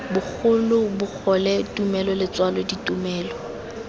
bogolo bogole tumelo letswalo ditumelo